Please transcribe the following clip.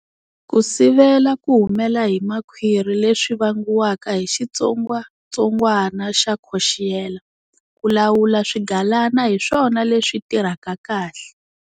Ku sivela ku humela hi makhwiri leswi vangiwaka hi xitsongatsongwana xa Coxiella, ku lawula swigalana hi swona leswi tirhaka kahle.